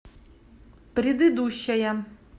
предыдущая